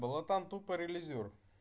была там тупо релизер